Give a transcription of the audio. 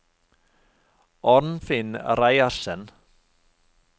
Arnfinn Reiersen